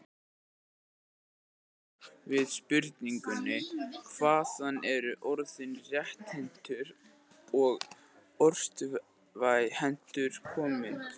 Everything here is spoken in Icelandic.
Í svari sínu við spurningunni Hvaðan eru orðin rétthentur og örvhentur komin?